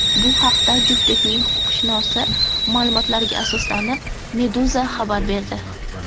Bu haqda juftlikning huquqshunosi ma’lumotlariga asoslanib, Meduza xabar berdi .